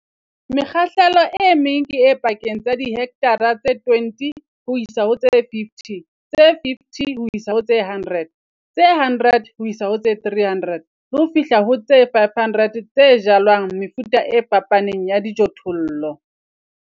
Mekgahlelo e meng ke e pakeng tsa dihekthara tse 20 ho isa ho tse 50, tse 50 ho isa ho tse 100, tse 100 ho isa ho tse 300 le ho fihla ho tse 500 tse jalwang mefuta e fapaneng ya dijothollo.